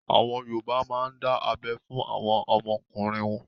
Àwọn Yorùbá má ń dá abẹ́ fún àwọn ọmọkùnrin.